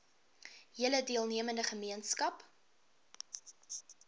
hele deelnemende gemeenskap